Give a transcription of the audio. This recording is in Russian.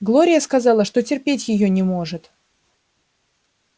глория сказала что терпеть её не может